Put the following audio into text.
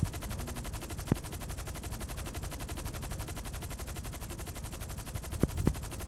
Mong'u mulwetab urachal yon korut mokupetab koristo ak beek en urachus.